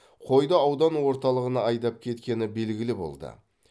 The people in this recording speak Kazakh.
қойды аудан орталығына айдап кеткені белгілі болды